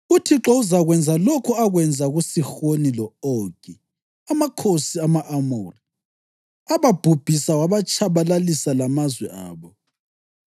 UThixo uzakwenza lokho akwenza kuSihoni lo-Ogi, amakhosi ama-Amori, ababhubhisa wabatshabalalisa lamazwe abo.